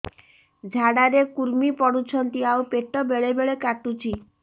ଝାଡା ରେ କୁର୍ମି ପଡୁଛନ୍ତି ଆଉ ପେଟ ବେଳେ ବେଳେ କାଟୁଛି